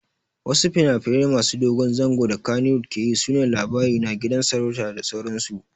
Wasu finafinai masu dogon zango da kannywood keyi sune Labarina, Gidan sarauta da sauransu